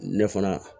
Ne fana